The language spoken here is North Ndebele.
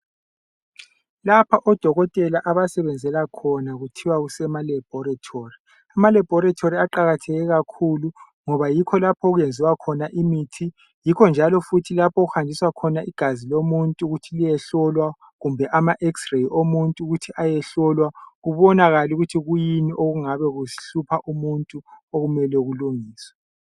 Lapha odokotela abasebenzela khona kuthiwa kusema laboratory, emalaboratory aqakatheke kakhulu ngoba yikho lapho okwenziwa khona imithi, yikho njalo lapho okuhanjiswa khona igazi lomuntu ukuthi liyehlolwa kumbe ama x-ray omuntu ukuthi ayehlolwa kubonakale ukuthi kuyini okungabe kuhlupha umuntu okumele kulungiswe.